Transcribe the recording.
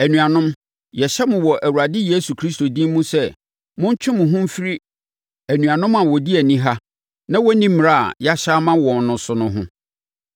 Anuanom, yɛhyɛ mo wɔ Awurade Yesu Kristo din mu sɛ, montwe mo ho mfiri anuanom a wɔdi aniha na wɔnni mmara a yɛahyɛ ama wɔn no so no ho.